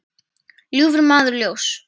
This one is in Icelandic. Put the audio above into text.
ljúfur maður ljóss.